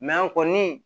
an kɔni